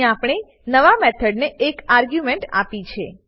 અહીં આપણે નવા મેથડને એક આર્ગ્યુંમેંટ આપી છે